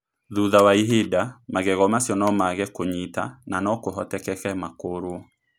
Thutha wa ihinda, magego macio no maage kũnyita na no kũhotekeke makũrũo.